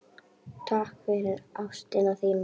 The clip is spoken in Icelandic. Takk fyrir ástina þína.